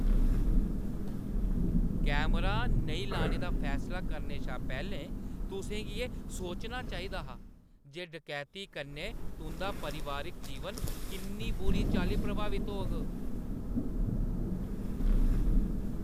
Camera नेईं लाने दा फैसला करने शा पैह्‌लें तुसें एह् सोचना चाहिदा हा जे डकैती कन्नै तुंʼदा पारिवारिक जीवन किन्नी बुरी चाल्ली प्रभावत होग।